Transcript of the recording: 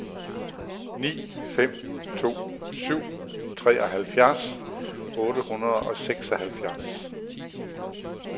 ni fem to syv treoghalvfjerds otte hundrede og seksoghalvfjerds